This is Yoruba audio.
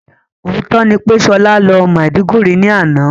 Òótọ́ ni pé Ṣọlá lọ Maiduguri ní àná